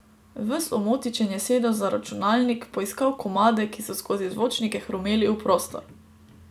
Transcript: Ves omotičen je sedel za računalnik, poiskal komade, ki so skozi zvočnike hrumeli v prostor.